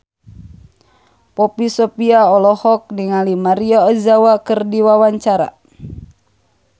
Poppy Sovia olohok ningali Maria Ozawa keur diwawancara